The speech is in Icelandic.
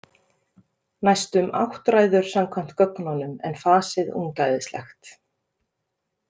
Næstum áttræður samkvæmt gögnunum en fasið ungæðislegt.